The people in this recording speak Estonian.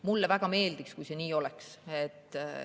Mulle väga meeldiks, kui see nii oleks.